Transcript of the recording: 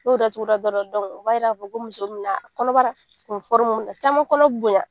N'o datuguda dɔrɔn o b'a yira k fɔ ko muso min n'a kɔnɔbara n forumu minɛ caman kɔnɔ bonya.